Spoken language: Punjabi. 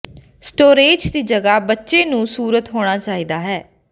ਸਟੋਰੇਜ਼ ਦੀ ਜਗ੍ਹਾ ਬੱਚੇ ਨੂੰ ਸੂਰਤ ਹੋਣਾ ਚਾਹੀਦਾ ਹੈ